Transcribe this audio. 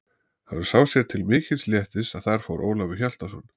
Hann sá sér til mikils léttis að þar fór Ólafur Hjaltason.